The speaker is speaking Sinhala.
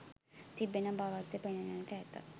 තිබෙන බවක්ද පෙනෙන්නට ඇත.